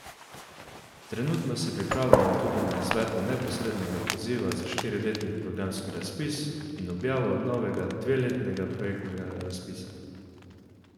Trenutno se pripravljamo tudi na izvedbo neposrednega poziva za štiriletni programski razpis in objavo novega dveletnega projektnega razpisa.